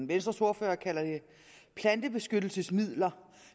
venstres ordfører kalder det plantebeskyttelsesmidler